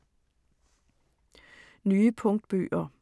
Nye punktbøger